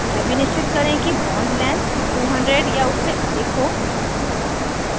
यह भी निश्चित करें कि bond length 200 या उससे अधिक हो